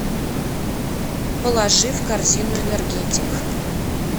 положи в корзину энергетик